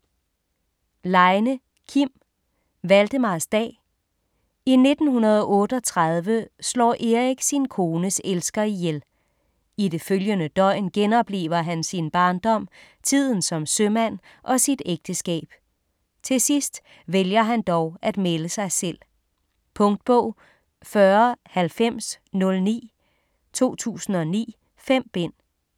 Leine, Kim: Valdemarsdag I 1938 slår Erik sin kones elsker ihjel. I det følgende døgn genoplever han sin barndom, tiden som sømand og sit ægteskab. Til sidst vælger han dog at melde sig selv. Punktbog 409009 2009. 5 bind.